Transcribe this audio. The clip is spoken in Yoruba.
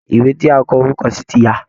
Ìwé tí a kọ orúkọ sí ti ya